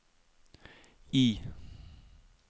I